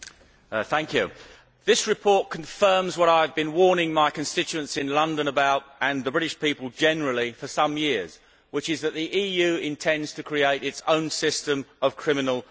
Madam President, this report confirms what I have been warning my constituents in London about, and the British people generally, for some years, which is that the EU intends to create its own system of criminal law.